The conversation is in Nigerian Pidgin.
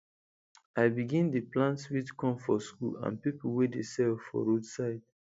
i begin dey plant sweet corn for school and people wey dey sell for roadside